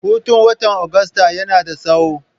Hutun watan Agusta yana da tsawo.